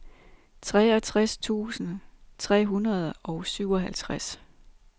treogtres tusind tre hundrede og syvoghalvtreds